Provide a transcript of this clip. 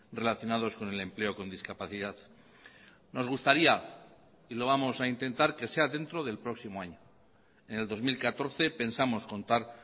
relacionados con el empleo con discapacidad nos gustaría y lo vamos a intentar que sea dentro del próximo año en el dos mil catorce pensamos contar